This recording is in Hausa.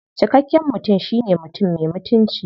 Cikakken mutum shine mutum me mutunci.